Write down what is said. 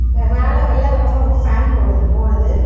ப_மேல வெள்ள கலர்ல ஒரு ஃபேன் போடு ஓடுது.